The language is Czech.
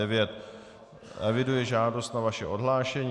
Eviduji žádost o vaše odhlášení.